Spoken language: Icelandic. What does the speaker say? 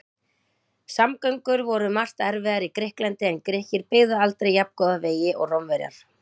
Samgöngur voru um margt erfiðar í Grikklandi en Grikkir byggðu aldrei jafngóða vegi og Rómverjar.